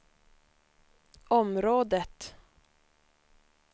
området